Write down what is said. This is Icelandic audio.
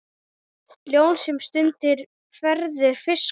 Ljón sem stundum verður fiskur.